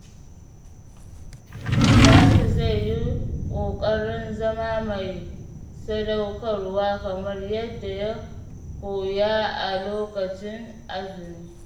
Salisu zai yi ƙoƙarin zama mai sadaukarwa kamar yadda ya koya a lokacin azumi.